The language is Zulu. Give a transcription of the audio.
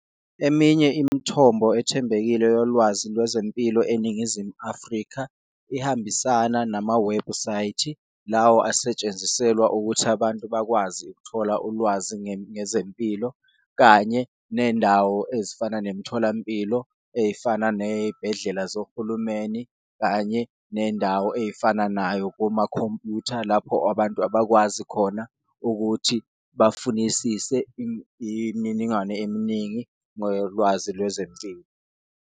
Eminye imithombo ethembekile yolwazi lwezempilo eNingizimu Afrika ihambisana namawebhusayithi lawa asetshenziselwa ukuthi abantu bakwazi ukuthola ulwazi ngezempilo kanye nendawo ezifana nemitholampilo. Eyifana neyibhedlela zohulumeni, kanye nendawo eyifana nayo komakhompyutha lapho abantu abakwazi khona ukuthi bafunisise imininingwane eminingi ngelwazi lwezempilo.